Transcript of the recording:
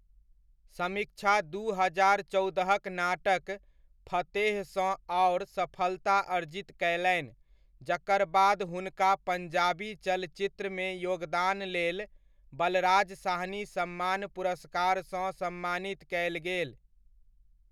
समीक्षा दू हजार चौदह'क नाटक फतेहसँ आओर सफलता अर्जित कयलनि, जकर बाद हुनका पञ्जाबी चलचित्रमे योगदानलेल बलराज साहनी सम्मान पुरस्कारसँ सम्मानित कयल गेल।